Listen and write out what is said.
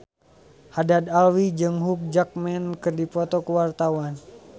Haddad Alwi jeung Hugh Jackman keur dipoto ku wartawan